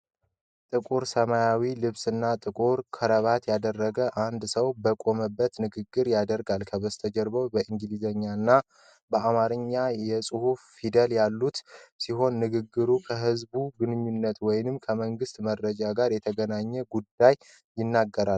ጥቁር ሰማያዊ ልብስና ጥቁር ክራባት ያደረገ አንድ ሰው በቆመበት ንግግር ያደርጋል። ከጀርባው በእንግሊዘኛ እና በአማርኛ የጽሑፍ ፊደሎች ያሉት ሲሆን ንግግሩ ከህዝብ ግንኙነት ወይም ከመንግስት መረጃ ጋር የተገናኘ ጉዳይ ይናገራል።